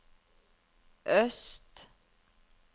øst